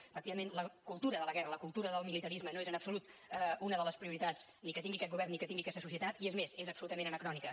efectivament la cultura de la guerra la cultura del militarisme no és en absolut una de les prioritats ni que tingui aquest govern ni que tingui aquesta societat i és més és absolutament anacrònica